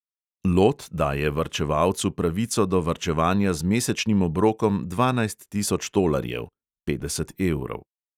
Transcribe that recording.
Lot daje varčevalcu pravico do varčevanja z mesečnim obrokom dvanajst tisoč tolarjev (petdeset evrov).